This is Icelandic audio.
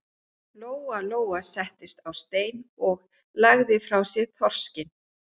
Lóa Lóa settist á stein og lagði frá sér þorskinn.